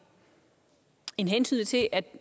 hensynet til at